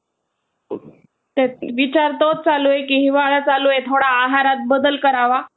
Japanese सैन्यांनी French व Indian वर हल्ला करून तो प्रदेश हस्तगत केला परंतु चीन ब्रिटन अमेरिका व नेदरलँड यांनी